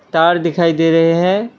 तार दिखाई दे रहे हैं।